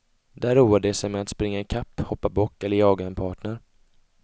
Där roar de sig med att springa ikapp, hoppa bock eller jaga en partner.